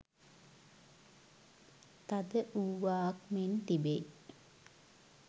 තද වූවාක් මෙන් තිබෙයි